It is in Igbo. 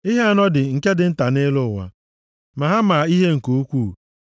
“Ihe anọ dị nke dị nta nʼelu ụwa, ma ha maa ihe nke ukwuu.